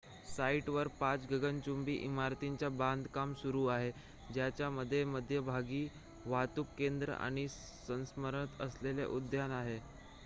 साइटवर पाच गगनचुंबी इमारतींचे बांधकाम सुरू आहे ज्याच्या मध्यभागी वाहतूक केंद्र आणि स्मरणार्थ असलेले उद्यान आहे